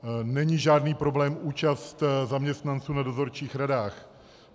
Není žádný problém účast zaměstnanců v dozorčích radách.